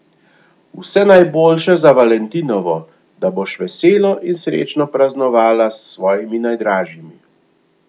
Vse najboljše za valentinovo, da boš veselo in srečno praznovala s svojimi najdražjimi.